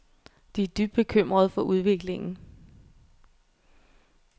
De er dybt bekymrede for udviklingen.